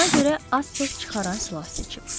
Ona görə az səs çıxaran silah seçib.